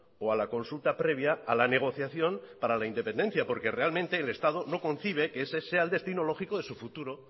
o a la consulta previa a la negociación para la independencia porque realmente el estado no concibe que ese sea el destino lógico de su futuro